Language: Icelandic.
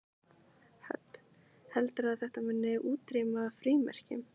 Hödd: Heldurðu að þetta muni útrýma frímerkjum?